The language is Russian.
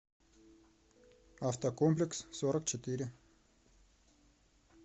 автокомплекс сорок четыре